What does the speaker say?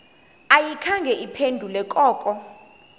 ayikhange iphendule koko